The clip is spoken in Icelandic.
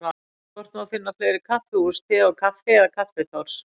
Hvort má finna fleiri kaffihús Te og Kaffi eða Kaffitárs?